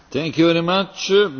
Panie Przewodniczący!